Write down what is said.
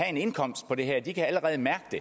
en indkomst på det her kan allerede mærke det